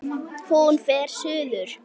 Hún fer suður.